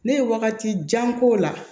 Ne ye wagati jan k'o la